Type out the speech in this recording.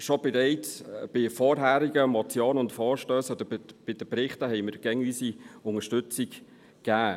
Schon bereits bei vorherigen Motionen und Vorstössen oder bei den Berichten haben wir stets unsere Unterstützung gegeben.